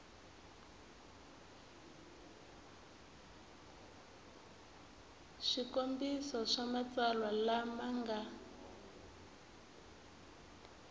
swikombiso swa matsalwa lama nga